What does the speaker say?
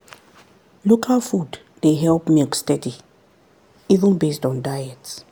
local food dey help milk steady even based on diet.